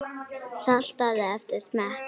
Saltaðu eftir smekk.